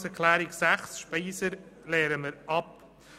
Die Planungserklärung 6 SVP/Speiser lehnen wir ab.